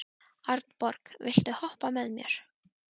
Arnborg, viltu hoppa með mér?